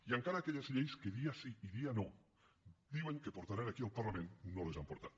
i encara aquelles lleis que dia sí i dia no diuen que portaran aquí al parlament no les han portat